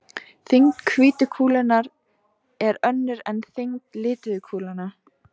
Þyngd hvítu kúlunnar er önnur en þyngd lituðu kúlnanna.